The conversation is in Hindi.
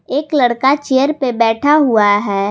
एक लड़का चेयर पे बैठा हुआ है।